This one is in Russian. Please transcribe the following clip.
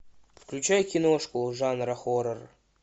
включай киношку жанра хоррор